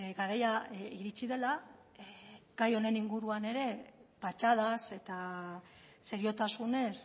garaia iritsi dela gai honen inguruan ere patxadaz eta seriotasunez